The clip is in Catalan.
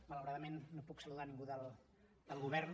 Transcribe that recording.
malauradament no puc saludar ningú del govern